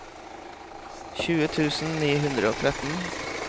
tjue tusen ni hundre og tretten